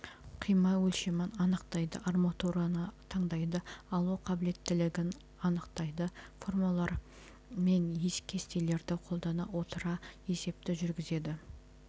қима өлшемін анықтайды арматураны таңдайды алу қабілеттілігін анықтайды формулалар мен кестелерді қолдана отыра есепті жүргізеді